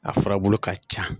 A furabulu ka ca